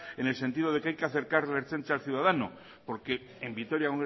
en el sentido de que hay que acercar la ertzaintza al ciudadano porque en vitoria